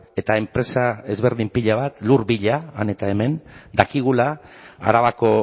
eta enpresa ezberdin pila bat lur bila han eta hemen dakigula arabako